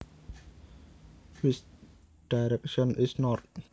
Which direction is north